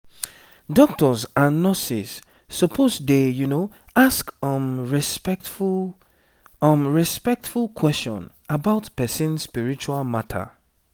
doctors and nurses suppose dey ask um respectful um respectful question about person spiritual matter